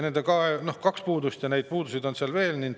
Kaks puudust, aga neid puudusi on seal veel.